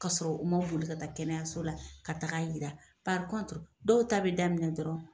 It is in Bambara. Ka sɔrɔ u ma boli ka taa kɛnɛyaso la ka taga yira dɔw ta bɛ daminɛ dɔrɔn.